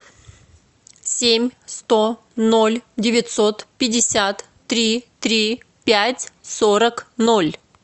семь сто ноль девятьсот пятьдесят три три пять сорок ноль